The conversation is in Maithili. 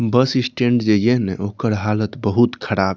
बस स्टैंड जईये न ओकर हालत बहुत खराब --